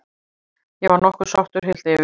Ég var nokkuð sáttur, heilt yfir.